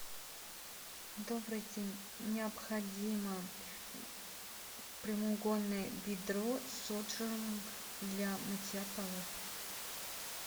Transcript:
добрый день необходимо прямоугольное ведро с отжимом для мытья полов